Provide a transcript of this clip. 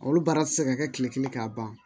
Olu baara ti se ka kɛ kile kelen k'a ban